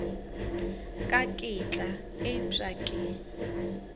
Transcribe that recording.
ka ke tla upša ke